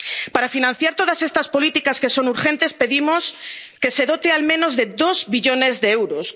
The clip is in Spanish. digital justa. Para financiar todas estas políticas que son urgentes, pedimos que se dote al menos de